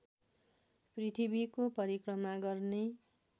पृथ्वीको परिक्रमा गर्ने